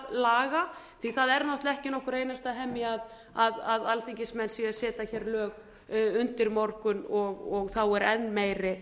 laga því það er náttúrlega ekki nokkur einasta hemja að alþingismenn séu að setja hér lög undir morgun og þá er enn meiri